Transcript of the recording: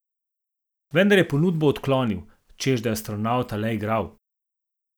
Vendar je ponudbo odklonil, češ da je astronavta le igral.